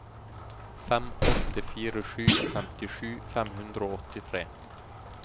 fem åtte fire sju femtisju fem hundre og åttitre